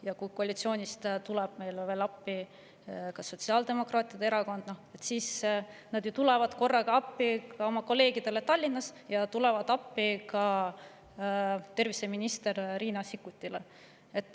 Ja kui koalitsioonist tuleb meile appi sotsiaaldemokraatide erakond, siis nad tulevad korraga samuti appi oma kolleegidele Tallinna ja ka terviseminister Riina Sikkutile.